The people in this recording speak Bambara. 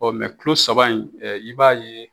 Ɔ kilo saba in i b'a ye